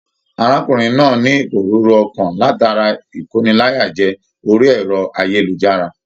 Arákùnrin náà ní iporúrú ọkan látara ikóníláyàjẹ̀ orí ẹrọ ayélujára.